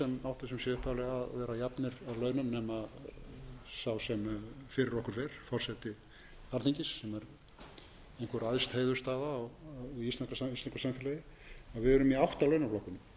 sé upphaflega að vera á launum nema sá sem fyrir okkur fer forseti alþingis sem er einhver æðst heiðursstaða í íslensku samfélagi að við erum í átta launaflokkum fyrst eru